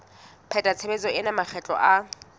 pheta tshebetso ena makgetlo a